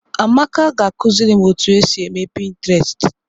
Amaka ga akụziri m otu esi eme pịntrestị.